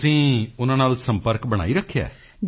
ਤੁਸੀਂ ਉਨ੍ਹਾਂ ਨਾਲ ਸੰਪਰਕ ਬਣਾਈ ਰੱਖਿਆ ਹੈ